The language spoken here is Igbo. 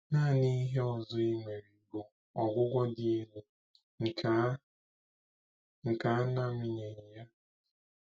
Nanị ihe ọzọ e nwere bụ ọgwụgwọ dị elu nke a nke a na-amịnyeghị ya.